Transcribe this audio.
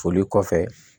Foli kɔfɛ